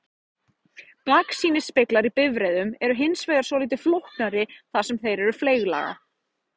Baksýnisspeglar í bifreiðum eru hins vegar svolítið flóknari þar sem þeir eru fleyglaga.